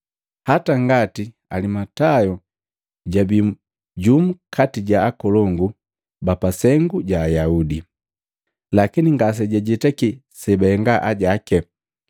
Hata ngati Alimatayo jabii jumu kati ja akolongu ba pasengu ja Ayaudi. Lakini ngasejajetaki sebahenga ajake,